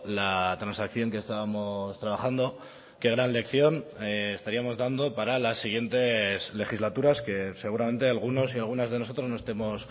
la transacción que estábamos trabajando qué gran lección estaríamos dando para las siguientes legislaturas que seguramente algunos y algunas de nosotros no estemos